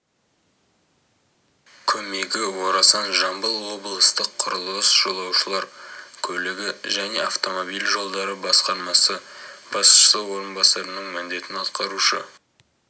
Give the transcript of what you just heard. көмегі орасан жамбыл облыстық құрылыс жолаушылар көлігі және автомобиль жолдары басқармасы басшысы орынбасарының міндетін атқарушы